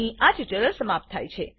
અહીં આ ટ્યુટોરીયલ સમાપ્ત થાય છે